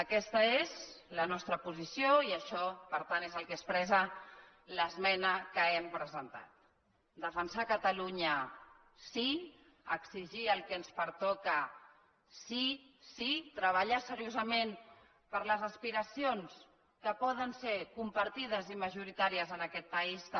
aquesta és la nostra posició i això per tant és el que expressa l’esmena que hem presentat defensar catalunya sí exigir el que ens pertoca sí sí treballar seriosament per les aspiracions que poden ser compartides i majoritàries en aquest país també